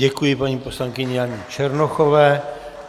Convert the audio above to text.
Děkuji paní poslankyni Janě Černochové.